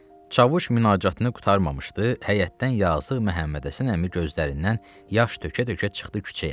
Çavuş münacatını qurtarmamışdı, həyətdən yazıq Məhəmmədhəsən əmi gözlərindən yaş tökə-tökə çıxdı küçəyə.